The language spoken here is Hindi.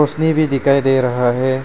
भी दिखाई दे रहा है।